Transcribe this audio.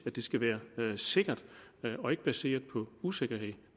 at det skal være sikkert og ikke baseret på usikkerhed